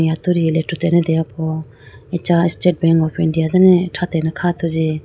atudi rethrutene deyapo acha state bank of india dane thratene kha athuji.